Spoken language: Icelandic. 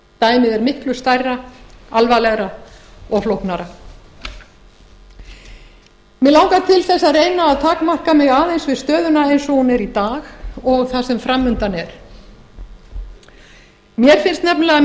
dæmið er miklu stærra alvarlegra og flóknara mig langar til að reyna að takmarka mig aðeins við stöðuna eins og hún er í dag og það sem fram undan er mér finnst nefnilega